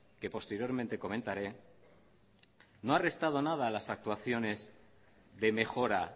que posteriormente comentaré no ha restado nada a las actuaciones de mejora